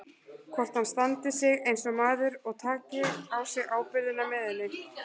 Hvort hann standi sig eins og maður og taki á sig ábyrgðina með henni.